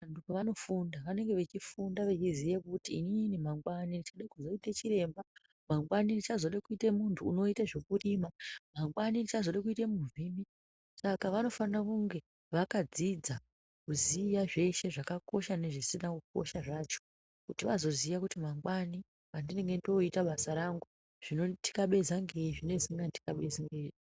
Vanhu pavanofunda vanenge vechifunda vechiziya kuti inini mangwanai ndichade kuzoite chiremba , mangwani ndichzode kuite munhu unoite zvekurima ,mangwani ndichazode kuita muvhimi, saka vanofane kunge vakadzidza kuziya zveshe zvakakosha nezvisina kukosha zvacho kuti vazoziya kuti mangwani pandinenge ndakuita basa rangu zvinonditikabeza ngeizvi nezvisinganditikabezi ngeizvi.